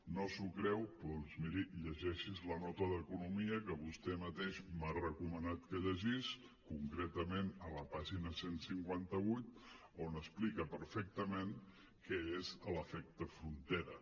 no s’ho creu doncs miri llegeixi’s la nota d’economia que vostè mateix m’ha recomanat que llegís concretament a la pàgina cent i cinquanta vuit on explica perfectament què és l’efecte frontera